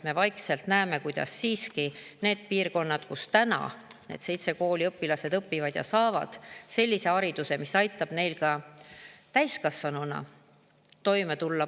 Me ju näeme, et nendes piirkondades, kus nende seitsme kooli õpilased õpivad, saavad nad sellise hariduse, mis aitab neil täiskasvanuna paremini toime tulla.